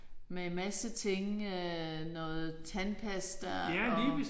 Men en masse ting øh noget tandpasta og